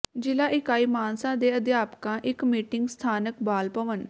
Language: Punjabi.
ਜ਼ਿਲ੍ਹਾ ਇਕਾਈ ਮਾਨਸਾ ਦੇ ਅਧਿਆਪਕਾਂ ਇਕ ਮੀਟਿੰਗ ਸਥਾਨਕ ਬਾਲ ਭਵਨ